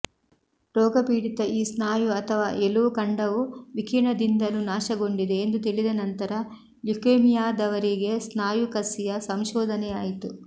ರೋಗಪೀಡಿತ ಈ ಸ್ನಾಯು ಅಥವಾ ಎಲುವು ಖಂಡವು ವಿಕಿರಣದಿಂದಲೂ ನಾಶಗೊಂಡಿದೆ ಎಂದು ತಿಳಿದ ನಂತರ ಲ್ಯುಕೇಮಿಯಾದವರಿಗೆ ಸ್ನಾಯು ಕಸಿಯ ಸಂಶೋಧನೆಯಾಯಿತು